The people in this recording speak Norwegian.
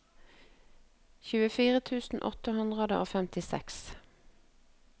tjuefire tusen åtte hundre og femtiseks